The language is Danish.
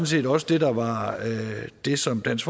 set også det der var det som dansk